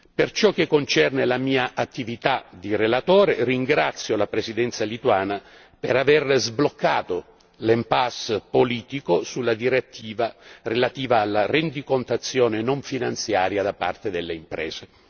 Per ciò che concerne la mia attività di relatore, ringrazio la Presidenza lituana per aver sbloccato l' impasse politico sulla direttiva relativa alla rendicontazione non finanziaria da parte delle imprese.